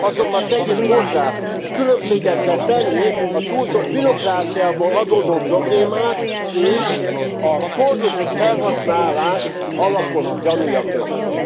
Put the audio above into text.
Azonban tegyük hozzá különbséget kell tenni a túlzott bürokráciából adódó problémák és a korrupt felhasználás alapos gyanúja között.